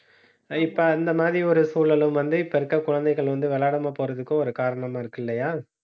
இப்ப, இந்த மாதிரி ஒரு சூழலும் வந்து இப்ப இருக்கிற குழந்தைகள் வந்து விளையாடாம போறதுக்கு ஒரு காரணமா இருக்கு இல்லையா